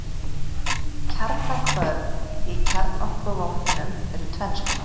Kjarnahvörf í kjarnorkuvopnum eru tvenns konar.